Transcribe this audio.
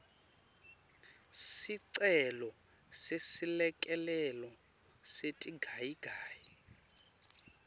sicelo seselekelelo setigayigayi